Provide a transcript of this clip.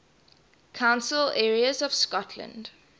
council areas of scotland